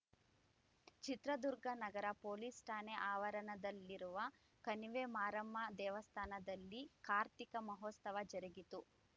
ಚಿತ್ರದುರ್ಗ ನಗರ ಪೊಲೀಸ್‌ ಠಾಣೆ ಆವರಣದಲ್ಲಿರುವ ಕಣಿವೆಮಾರಮ್ಮ ದೇವಸ್ಥಾನದಲ್ಲಿ ಕಾರ್ತಿಕ ಮಹೋತ್ಸವ ಜರುಗಿತು